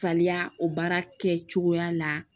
Saliya o baara kɛcogoya la